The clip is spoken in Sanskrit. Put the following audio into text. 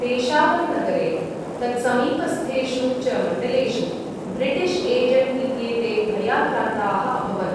पेशावरनगरे, तत्समीपस्थेषु च मण्डलेषु ब्रिटिश् एजण्ट् इत्येते भयाक्रान्ताः अभवन्।